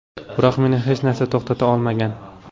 Biroq meni hech narsa to‘xtata olmagan.